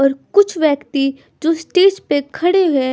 और कुछ व्यक्ति जो स्टेज पे खड़े हैं।